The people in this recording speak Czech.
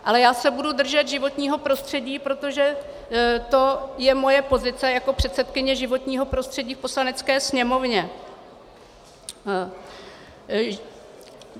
Ale já se budu držet životního prostředí, protože to je moje pozice jako předsedkyně životního prostřední v Poslanecké sněmovně.